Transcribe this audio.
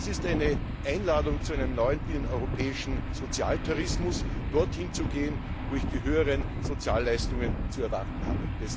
Das ist eine Einladung zu einem neuen binneneuropäischen Sozialtourismus, dorthin zu gehen, wo man die höheren Sozialleistungen zu erwarten hat.